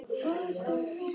Elsku amma Jóna.